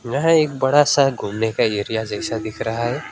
यह एक बड़ा सा घूमने का एरिया जैसा दिख रहा है।